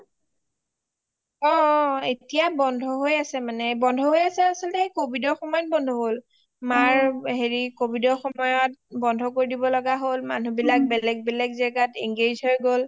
অ অ এতিয়া বন্ধ হৈ আছে বন্ধ হৈ আছে মানে covid ৰ সময়ত বন্ধ হল মাৰ covid ৰ সময়ত বন্ধ কৰি দিব লগা হল মানুহ বিলাক বেলেগে বেলেগে জাগাত engage হৈ গল